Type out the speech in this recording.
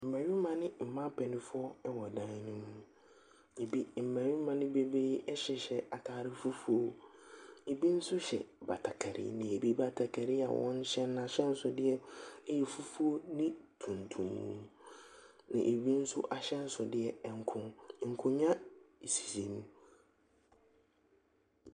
Mmarima ne mmaa mpanimfoɔ wɔ dan no mu. Ebi mmarima no bi hyehyɛ ataare fufuo. Ebi nso hyɛ batakari. Na ebi batakaari a wɔn hyɛ no n'ahyɛnsodeɛ yɛ ffuo ne tuntum. Na ebi nso ahyɛnsodeɛ nko. Nkonnwa sisi mu.